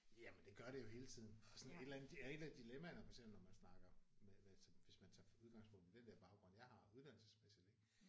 Jamen det gør det jo hele tiden og sådan et eller andet et af dilammaerne for eksempel når man snakker med altså hvis man tager udgangspunkt i den der baggrund jeg har uddannelsesmæssigt ik